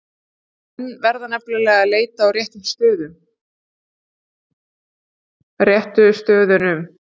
Menn verða nefnilega að leita á réttu stöðunum!